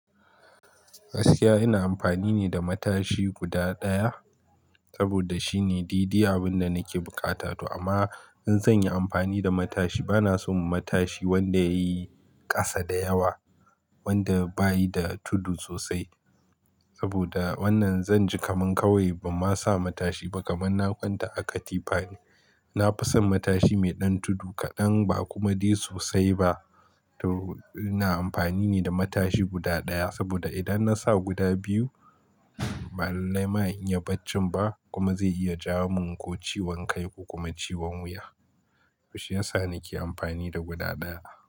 Gaskiya ina amfani ne da matashi guda ɗaya saboda shine daidai abun da nake bukata to amma in zan yi amfani da matashi bana son matashi wanda yayi ƙasa da yawa wanda bayi da tudu sosai saboda wannan zan ji kaman kawai bamasa matashi ba kaman na kwanta a katifane. Nafison matashi me ɗan tudu kaɗan ba kuma dai sosai ba to ina amfani ne da matashi guda ɗaya saboda idan nasa guda biyu ba lalai ma in iya bacci ba kuma zai iya jawo min ko ciwon kai ko kuma ciwon wuya. To shiyasa na ke amfani da guda ɗaya.